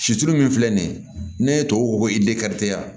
Situlu min filɛ nin ye ne tubabu ko i de kari